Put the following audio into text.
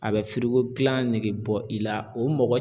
A bɛ dilan negebɔ i la o mɔgɔ